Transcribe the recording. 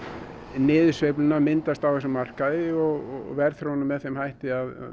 niðursveifluna myndast á þessum markaði og verðþróunin er með þeim hætti að